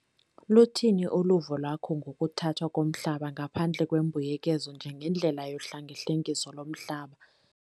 Luthini uluvo lwakho ngokuthathwa komhlaba ngaphandle kwembuyekezo njengendlela yohlengahlengiso lomhlaba?